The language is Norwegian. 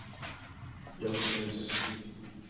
jazzhus